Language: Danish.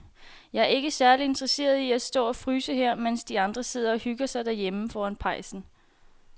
Jeg er ikke særlig interesseret i at stå og fryse her, mens de andre sidder og hygger sig derhjemme foran pejsen.